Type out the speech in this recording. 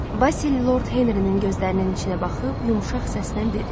Basil Lord Henrinin gözlərinin içinə baxıb yumşaq səslə dedi.